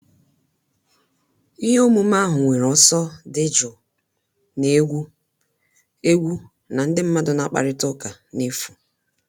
Ihe omume ahụ nwere ọsọ dị jụụ, na-egwu egwu na ndị mmadụ na-akparịta ụka n'efu